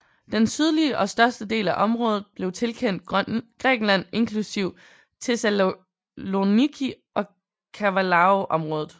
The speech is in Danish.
Den sydlige og største del af området blev tilkendt Grækenland inklusive Thessaloniki og Kavalaområdet